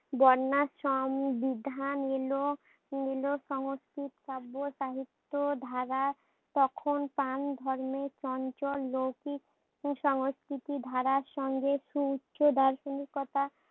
বন্যাসম বিধান এলো এলো সংস্কৃত শব্দ সাহিত্য ধারা তখন তান ধর্মের চঞ্চল লোকই সংস্কৃতি ধারার সঙ্গে সু উচ্চ দার্শনিকতা